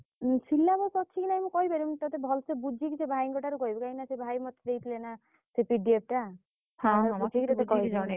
ଉ syllabus ଅଛି କି ନାଇଁ ମୁଁ କହିପାରିବିନି ତତେ ଭଲସେ ବୁଝିକି ସେ ଭାଇଙ୍କ ଠାରୁ କହିବି କାଇଁ ନା ସେ ଭାଇ ମତେ ଦେଇଥିଲେ ନା ସେ PDF ଟା